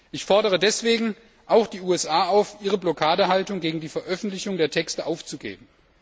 Ich fordere deswegen auch die USA auf, ihre Blockadehaltung gegen die Veröffentlichung der Texte aufzugeben.